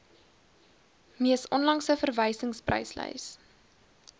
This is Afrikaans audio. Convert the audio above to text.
mees onlangse verwysingspryslys